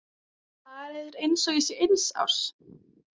Það er eins og ég sé eins árs.